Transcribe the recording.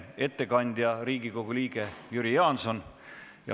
Ettekandja on Riigikogu liige Jüri Jaanson.